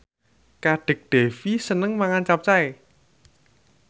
Kadek Devi seneng mangan capcay